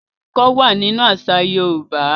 Ọrin kíkọ wà nínú àṣà Yorùbá.